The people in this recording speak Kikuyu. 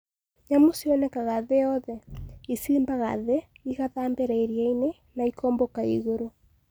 Nyamũ cionekaga thĩ yothe. ICiimbaga thĩ, igathambĩra iria-inĩ, na ikombũka igũrũ.